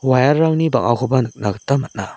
wire-rangni bang·akoba nikna gita man·a.